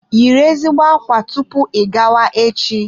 Yiri ezigbo ákwá tupu ị gawa echi.